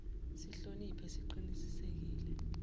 sihloni phe siqinisekise